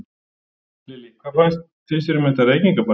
Lillý: Hvað finnst þér um þetta reykingabann?